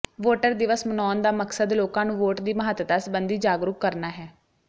voter ਦਿਵਸ ਮਨਾਉਣ ਦਾ ਮਕਸਦ ਲੋਕਾਂ ਨੂੰ ਵੋਟ ਦੀ ਮਹੱਤਤਾ ਸਬੰਧੀ ਜਾਗਰੂਕ ਕਰਨਾ ਹੈ